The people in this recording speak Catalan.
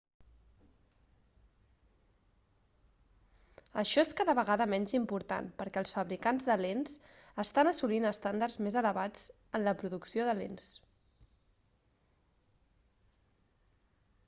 això és cada vegada menys important perquè els fabricants de lents estan assolint estàndards més elevats en la producció de lents